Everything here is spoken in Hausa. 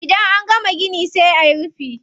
Idan an gama gini sai ayi rufi.